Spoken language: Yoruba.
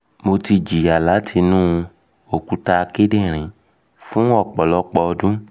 um mo ti jiya lati inu okuta kidinrin fun ọpọlọpọ ọdun